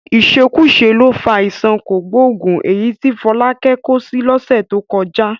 Ìṣekúṣe ló fa àìsàn kògbóògùn èyí tí Fọlákẹ́ kó sí lọ́sẹ̀ tó kọjá